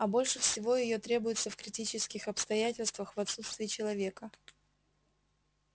а больше всего её требуется в критических обстоятельствах в отсутствие человека